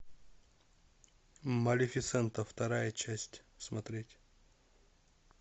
малефисента вторая часть смотреть